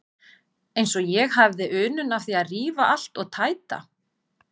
Eins og ég hefði unun af því að rífa allt og tæta.